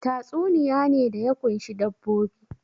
Tatsuniya ne da ya ƙunshi dabbobi